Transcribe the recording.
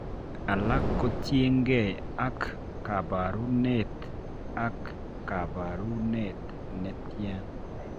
Alak kotienge ak kabaruneet ak kabaruneet netian